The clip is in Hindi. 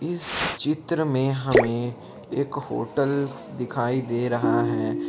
इस चित्र में हमें एक होटल दिखाई दे रहा है ।